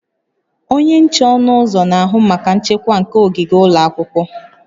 Onye nche ọnụ ụzọ na-ahụ maka nchekwa nke ogige ụlọ akwụkwọ